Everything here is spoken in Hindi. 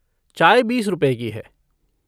चाय बीस रुपए की है।